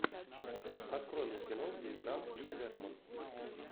открой мне кино где играл хью джекман